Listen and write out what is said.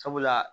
Sabula